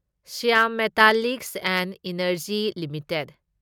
Shyam Metalics and Energy limited